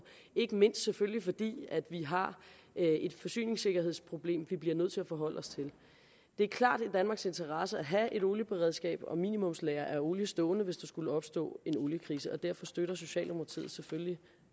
ikke mindst selvfølgelig fordi vi har et forsyningssikkerhedsproblem som vi bliver nødt til at forholde os til det er klart i danmarks interesse at have et olieberedskab og et minimumslager af olie stående hvis der skulle opstå en oliekrise derfor støtter socialdemokratiet selvfølgelig